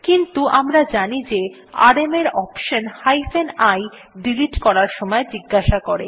কিন্তু আমরা জানি যে আরএম কমান্ড এর অপশনহাইফেন i ডিলিট করার সময় জিজ্ঞাসা করে